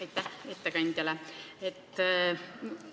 Aitäh ettekandjale!